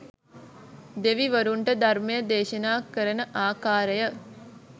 දෙවිවරුන්ට ධර්මය දේශනා කරන ආකාරය